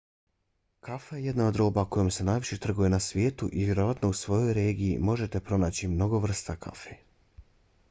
kafa je jedna od roba kojom se najviše trguje na svijetu i vjerovatno u svojoj regiji možete pronaći mnogo vrsta kafe